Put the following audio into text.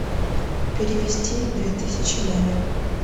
перевести две тысячи маме